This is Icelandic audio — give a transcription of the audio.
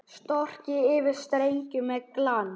Strokið yfir streng með glans.